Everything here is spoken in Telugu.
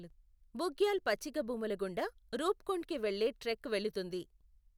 బుగ్యాల్ పచ్చికభూముల గుండా రూప్కుండ్కి వెళ్లే ట్రెక్ వెళుతుంది.